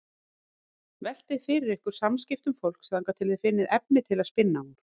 Veltið fyrir ykkur samskiptum fólks þangað til þið finnið efni til að spinna úr.